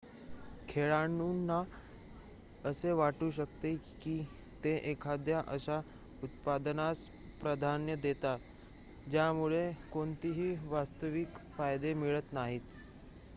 खेळाडूंना असे वाटू शकते की ते एखाद्या अशा उत्पादनास प्राधान्य देतात ज्यामुळे कोणतेही वास्तविक फायदे मिळत नाहीत